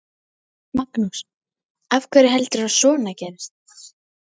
Magnús: Af hverju heldurðu að svona gerist?